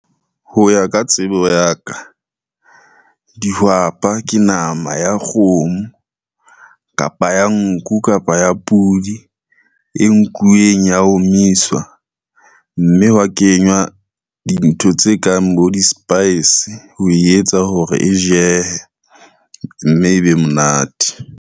Ho ya ka tsebo ya ka, dihwapa ke nama ya kgomo, kapa ya nku, kapa ya podi e nkuweng ya omiswa, mme hwa kenywa dintho tse kang bo di-spice ho etsa hore e jehe, mme e be monate.